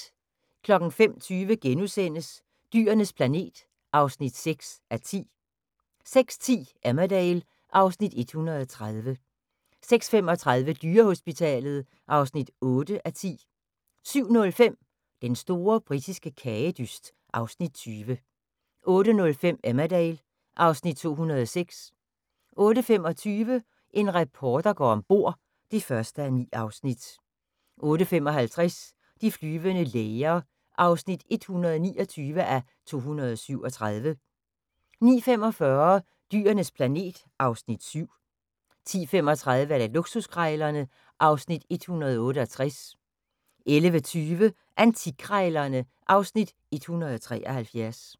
05:20: Dyrenes planet (6:10)* 06:10: Emmerdale (Afs. 130) 06:35: Dyrehospitalet (8:10) 07:05: Den store britiske kagedyst (Afs. 20) 08:05: Emmerdale (Afs. 206) 08:25: En reporter går om bord (1:9) 08:55: De flyvende læger (129:237) 09:45: Dyrenes planet (Afs. 7) 10:35: Luksuskrejlerne (Afs. 168) 11:20: Antikkrejlerne (Afs. 173)